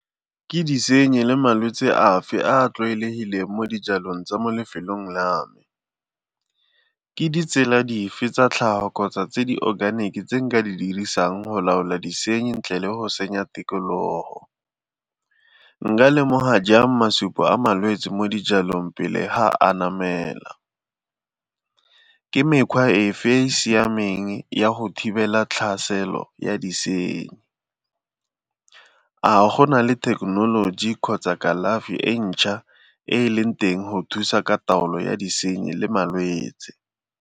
Ke disenyi le malwetsi afe a a tlwaelegileng mo dijalong tsa mo lefelong la me? Ke ditsela dife tsa tlhago kgotsa tse di-organic tse nka di dirisang go laola disenyi ntle le go senya tikologo? Nka lemoga jang masupo a malwetsi mo dijalong pele ha anamela? Ke mekgwa efe e e siameng ya go thibela tlhaselo ya disenyi? A go na le thekenoloji kgotsa kalafi e ntšha e e leng teng go thusa ka taolo ya disenyi le malwetsi?